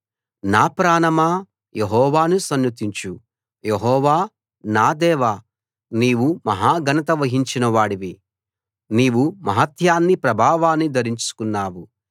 నా ప్రాణమా యెహోవాను సన్నుతించు యెహోవా నా దేవా నీవు మహా ఘనత వహించిన వాడివి నీవు మహాత్మ్యాన్ని ప్రభావాన్ని ధరించుకున్నావు